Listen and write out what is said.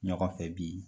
Ɲɔgɔn fɛ bi